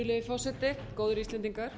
virðulegi forseti góðir íslendingar